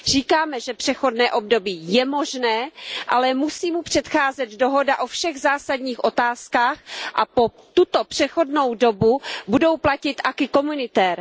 Říkáme, že přechodné období je možné, ale musí mu předcházet dohoda o všech zásadních otázkách a po tuto přechodnou dobu budou platit acquis communautaire